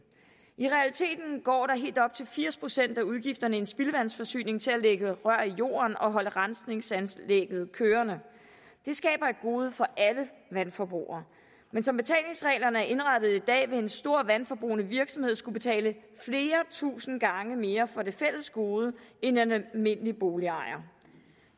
i realiteten går helt op til firs procent af udgifterne i en spildevandsforsyning til at lægge rør i jorden og holde rensningsanlægget kørende det skaber et gode for alle vandforbrugere men som betalingsreglerne er indrettet i dag vil en stor vandforbrugende virksomhed skulle betale flere tusind gange mere for det fælles gode end den almindelige boligejer